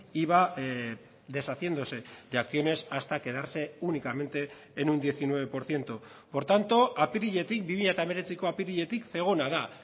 iba deshaciéndose de acciones hasta quedarse únicamente en un diecinueve por ciento por tanto apiriletik bi mila hemeretziko apiriletik zegona da